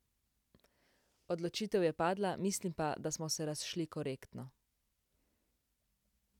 Odločitev je padla, mislim pa, da smo se razšli korektno.